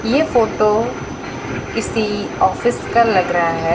ये फोटो किसी ऑफिस का लग रहा है।